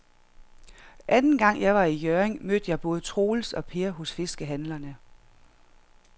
Anden gang jeg var i Hjørring, mødte jeg både Troels og Per hos fiskehandlerne.